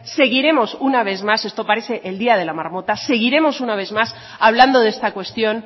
seguiremos una vez más esto parece el día de la marmota hablando de esta cuestión